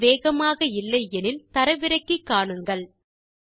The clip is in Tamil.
இணைப்பு வேகமாக இல்லை எனில் தரவிறக்கி காணுங்கள்